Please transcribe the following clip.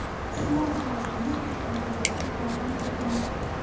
Sinov jarayoni uch oyga yaqin vaqt davom etadi.